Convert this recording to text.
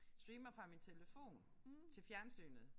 Streamer fra min telefon til fjernsynet